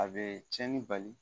A bɛ cɛnni bali